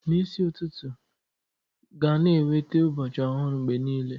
N'isi ụtụtụ ga-na ewete ụbọchị ọhụrụ mgbe niile.